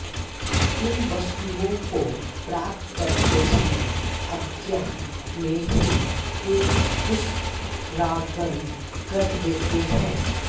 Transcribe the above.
इन वस्तुओं को प्राप्त करते समय अज्ञान में ही ये पुष्परागण कर देते हैं